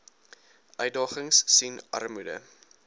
uitdagings sien armoede